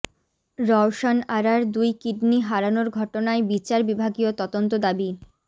রওশন আরার দুই কিডনি হারানোর ঘটনায় বিচার বিভাগীয় তদন্ত দাবি